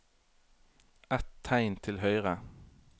Ett tegn til høyre